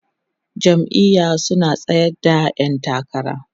jam'iya su na tsayar da ƴan takara